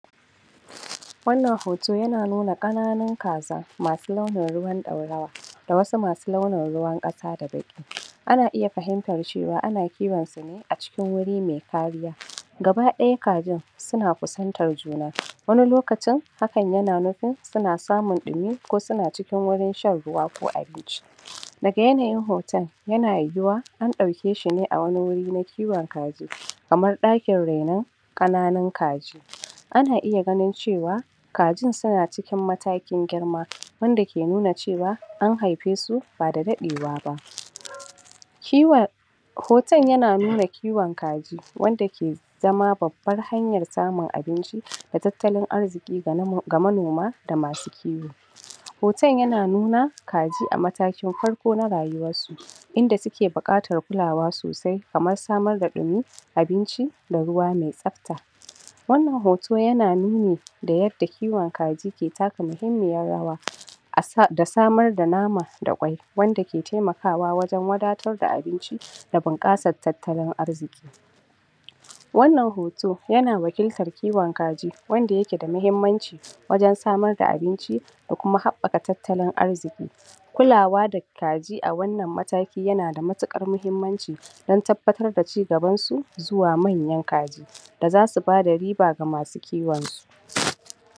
wannan hoto yana nuna ƙananun kazah masu launin ruwan ɗaurawa da wasu masu launin ruwan ƙasa da baki ana iya fahimtar cewa an kiwon tane acikin wuri me kariya gaba ɗaya kajin suna kusantar juna wani lokacin haka yana nufin suna samun ɗimi ko suna cikin gurin shan ruwa ko abinci daga yanayin hoton ya yuwuwa an ɗau keshine a wani guri na kiwon kaji kaman ɗakin raino ƙananun kaji ana iya ganin cewa kajin suna cikin matakin girma wanda ke nuna cewa an haifesu bada daɗewaba kiwon hoton yana nuna kiwon kaji wanda ke zama babbar hayan samun abinci da tattalin arziki ga manoma da masu kiwo hoton yana nuna kaji amatakin farko na rayuwarsu inda suke buƙatar kula sosai kaman samar da ɗumi abinci da ruwa mai tsafta wannan hoto yana nuni da yadda kiwon kaji ke taka muhimmin rawa da samar da nama da kwai wanda ke temakawa wajan wadatar da abinci da bunƙasar tattalin arziki wannan hoto yana wakiltan kiwon kaji wanda yake da mahimmanci wajan samar da abinci da kuma habɓaƙa tattalin arziki kulawa da kaji awannan mataki yanada matiɗƙan mahimmanci dan tarbatar da ci gabansu zuwa manyan kaji da zasu bada riba ga masu kiwon su